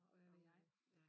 Og hvad ved jeg